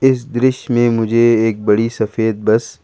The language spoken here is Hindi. इस दृश्य में मुझे एक बड़ी सफेद बस --